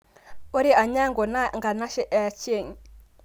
Kore Anyango naa nkanashe ee Achieng